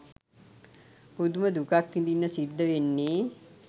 පුදුම දුකක් විඳින්න සිද්ද වෙන්නේ